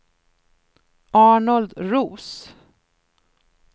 Arnold Roos